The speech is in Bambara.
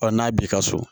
Ɔ n'a b'i ka so